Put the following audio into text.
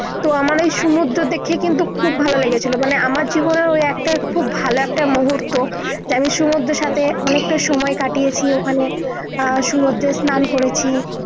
তো আমার ঐ সমুদ্র দেখলে কিন্তু খুব ভালো লেগেছিলো মানে আমার জীবনের ঐ একটা খুব ভালো একটা মুহূর্ত যেমন সমুদ্র সাথে অনেক টা সময় কাটিয়েছি ওখানে আহ সমুদ্রে স্নান করেছি